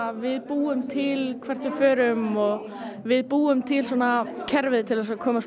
við búum til hvert við förum og við búum til kerfið til að komast